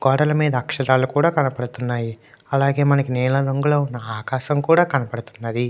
గోడల మీద అక్షరాలు కూడా కనపడుతున్నాయి అలాగే నీలం రంగు ఆకాశం కూడా కనపడుతుంది .